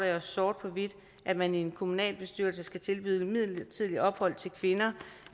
sort på hvidt at man i en kommunalbestyrelse skal tilbyde midlertidigt ophold til kvinder